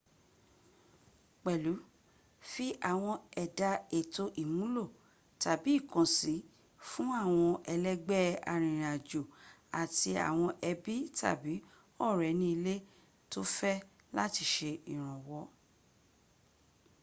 pèlú fi àwọn ẹ̀dà èto ìmúlò/ìkànsín fún àwọn ẹlẹ́gbẹ́ arìnrìn àjò àti àwọn ẹbí tàbí ọ̀rẹ́ ní ilé tó fẹ́ láti sẹ ìrànwọ́